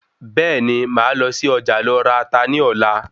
Bẹ́ẹ̀ni màá lọ sí Ọjà lọ ra Ata ní Ọ̀la